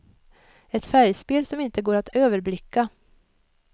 Ett färgspel som inte går att överblicka.